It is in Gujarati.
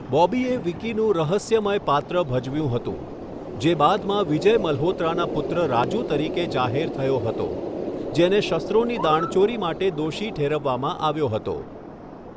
બોબીએ વિકીનું રહસ્યમય પાત્ર ભજવ્યું હતું, જે બાદમાં વિજય મલ્હોત્રાના પુત્ર રાજુ તરીકે જાહેર થયો હતો, જેને શસ્ત્રોની દાણચોરી માટે દોષી ઠેરવવામાં આવ્યો હતો.